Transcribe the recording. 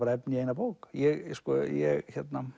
efni í eina bók ég ég